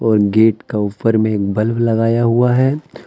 और गेट का ऊपर में एक बल्ब लगाया हुआ है।